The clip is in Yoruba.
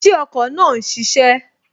Ṣé ọkọ̀ náà n ṣiṣẹ́?